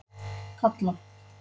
Kalla